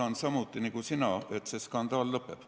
Loodan samuti nagu sina, et see skandaal lõpeb.